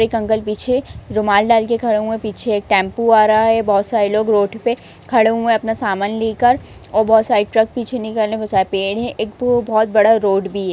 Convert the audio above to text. एक अंकल पीछे रुमाल डाल के खड़े हुए हैंपीछे एक टेंपो आ रहा है बहोत सारे लोग रोड पे खड़े हुए हैं अपना सामान लेकर और बहुत सारी ट्रक पीछे निकलने को पेड़ है एक ओ बहोत बड़ा पेड़ भी है |